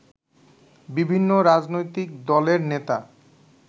বিভিন্ন রাজনৈতিক দলের নেতা